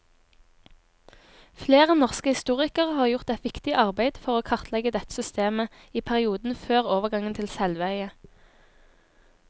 Flere norske historikere har gjort et viktig arbeid for å kartlegge dette systemet i perioden før overgangen til selveie.